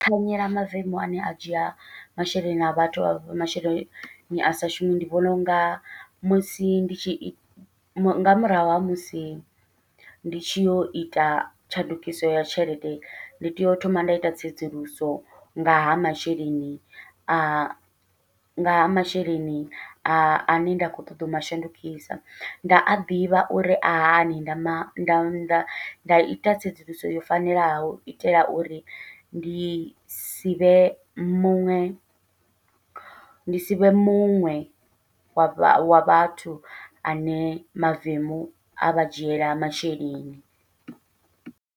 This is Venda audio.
Thanyela mavemu ane a dzhia masheleni a vhathu a vhafha masheleni a sa shumi, ndi vhona unga musi ndi tshi nga murahu ha musi ndi tshi yo ita tshandukiso ya tshelede ndi tea u thoma nda ita tsedzuluso nga ha masheleni a ngaha masheleni ane nda khou ṱoḓa u mashandukisa, nda a ḓivha uri a hani nda ma nda nda nda ita tsedzuluso yo fanelaho, u itela uri ndi sivhe muṅwe ndi sivhe muṅwe wa vha wa vhathu ane mavemu avha dzhiela masheleni.